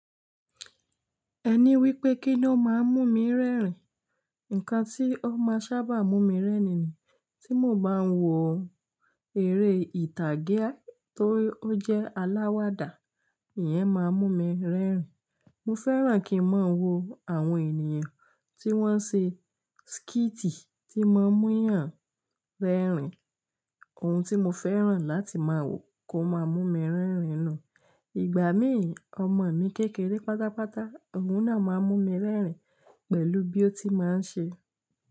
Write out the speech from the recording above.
Ẹní wípé kín ló máa ń mú mi rẹ́rìn. Ǹkan tí ó máa sábà mú mi rẹ́rìn ni tí mo bá ń wo eré ìtàgé tó jẹ́ aláwàdà, ìyẹn máa ń mú mi rẹ́rìn. Mo fẹ́ràn kí ń máa wo àwọn ènìyàn tí wọ́n ń ṣe skíìtì tí n máa ń múyàn rẹ́rìn. Ohun tí mo fẹ́ràn láti máa wo kó máa mú mi rẹ́rìn náà. Ìgbà mí, ọmọ mi kékeré pátápátá òun náà máa ń mú mi rẹ́rìn pẹ̀lú bí ó ti máa ń ṣe.